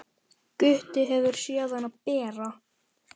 Gutti hefur séð hana bera.